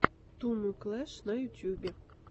туму клэш на ютьюбе